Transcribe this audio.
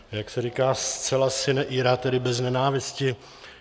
Jak se říká, zcela sine ira, tedy bez nenávisti.